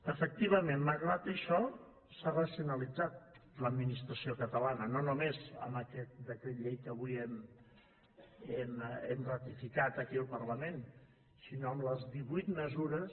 efectivament malgrat això s’ha racionalitzat l’administració catalana no només amb aquest decret llei que avui hem ratificat aquí al parlament sinó amb les divuit mesures